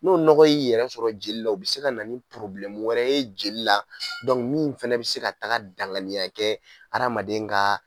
N'o nɔgɔn yi' yɛrɛ sɔrɔ jeli la, o bi se ka na ni wɛrɛ ye jeli la min fɛnɛ bɛ se ka taa danganiya kɛ adamaden ka